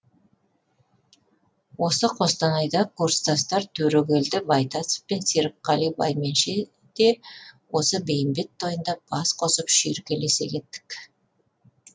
осы қостанайда курстастар төрекелді байтасов пен серікқали байменше де осы бейімбет тойында бас қосып шүйіркелесе кеттік